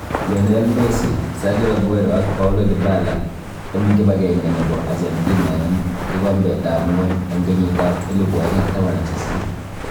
Lionel Messi, Sergio Aguero ak Paulo Dybala en kibagebge nebo Argentinanen kigombet ab ngwony en kenyitab 2018.